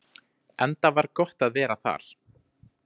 Enda var gott að vera þar.